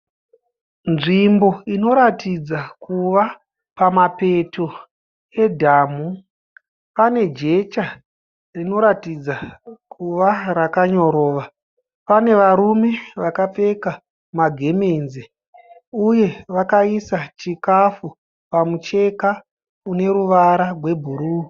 Nzvimbo inoratidza kuva pamapeto edhamhu. Pane jecha rinoratidza kuva rakanyorova. Pane varume vakapfeka magemenzi ,uye vakaisa chikafu pamucheka une ruvara rwebhuru.